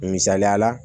Misaliya la